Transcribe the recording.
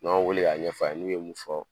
N'an y'u wele k'a ɲɛfɔ n'u ye mun fɔ